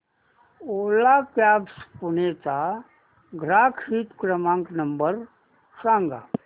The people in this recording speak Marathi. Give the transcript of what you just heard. ओला कॅब्झ पुणे चा ग्राहक हित क्रमांक नंबर सांगा